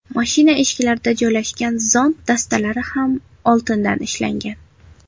Mashina eshiklarida joylashgan zont dastalari ham oltindan ishlangan.